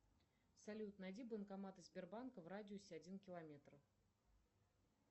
салют найди банкоматы сбербанка в радиусе один километр